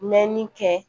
Mɛnni kɛ